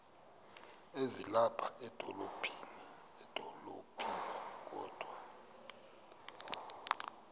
ezilapha edolophini kodwa